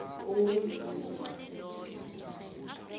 owenziwe ngaphasi kwesigatjana